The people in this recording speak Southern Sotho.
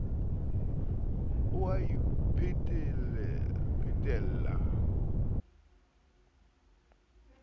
o a iphetela ka ba